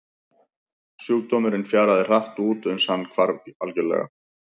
Sjúkdómurinn fjaraði hratt út uns hann hvarf algjörlega.